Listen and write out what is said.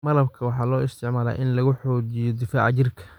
Malabka waxaa loo isticmaalaa in lagu xoojiyo difaaca jirka.